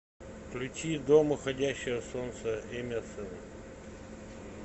включи дом уходящего солнца эмерсона